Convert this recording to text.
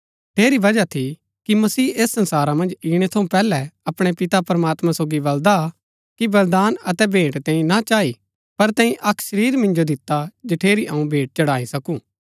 ठेरी बजहा थी कि मसीह ऐस संसारा मन्ज ईणै थऊँ पैहलै अपणै पिता प्रमात्मां सोगी बल्‍दा कि बलिदान अतै भेंट तैंई ना चाई पर तैंई अक्क शरीर मिन्जो दिता जठेरी अऊँ भेंट चढ़ाई सकू